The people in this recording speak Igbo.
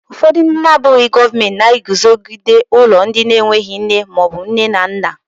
Ụfọdụ ndị abụghị gọọmentị na-eguzogide ụlọ ndị enweghị nne maọbụ nne na nna.